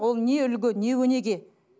ол не үлгі не өнеге